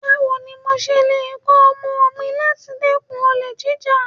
Báwo ni mo ṣe lè kọ̀ ọmọ mi láti dẹ́kun olè jíjà?